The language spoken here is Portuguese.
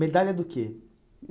Medalha do quê?